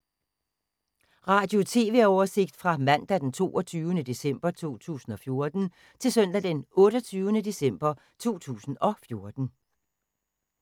Radio/TV oversigt fra mandag d. 22. december 2014 til søndag d. 28. december 2014